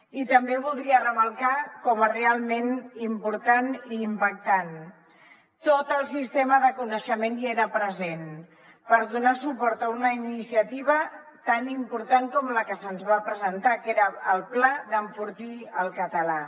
i també voldria remarcar com a realment important i impactant tot el sistema de coneixement hi era present per donar suport a una iniciativa tan important com la que se’ns va presentar era el pla d’enfortir el català